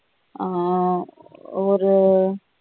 ஆஹ் ஒரு